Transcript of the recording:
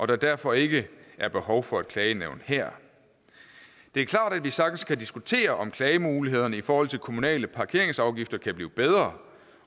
der derfor ikke er behov for et klagenævn her det er klart at vi sagtens kan diskutere om klagemulighederne i forhold til kommunale parkeringsafgifter kan blive bedre